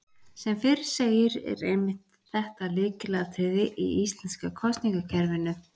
Sem fyrr segir er einmitt þetta lykilatriði í íslenska kosningakerfinu.